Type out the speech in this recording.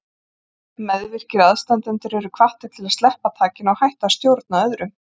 Meðvirkir aðstandendur eru hvattir til að sleppa takinu og hætta að stjórna öðrum.